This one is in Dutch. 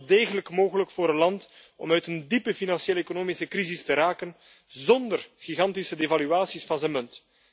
Het is wel degelijk mogelijk voor een land om uit een diepe financiële, economische crisis te raken zonder gigantische devaluaties van zijn munt.